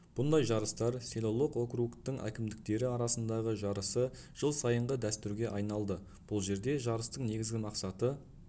бұндай жарыстар селолық округтың әкімдіктері арасындағы жарысы жыл сайынғы дәстүрге айналды бұл жерде жарыстың негізгі мақсаты